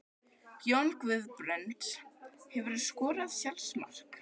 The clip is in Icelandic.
Jón Guðbrands Hefurðu skorað sjálfsmark?